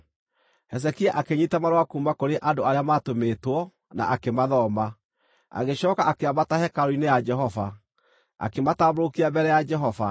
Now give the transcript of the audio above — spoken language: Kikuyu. Hezekia akĩnyiita marũa kuuma kũrĩ andũ arĩa maatũmĩtwo, na akĩmathoma. Agĩcooka akĩambata hekarũ-inĩ ya Jehova, akĩmatambũrũkia mbere ya Jehova.